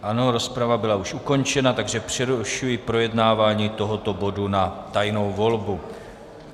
Ano, rozprava byla už ukončena, takže přerušuji projednávání tohoto bodu na tajnou volbu.